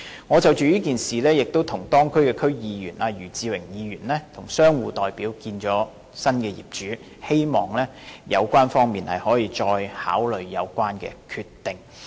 我曾就這件事跟當區區議員余智榮和商戶代表約見新業主，希望新業主可以再考慮有關決定。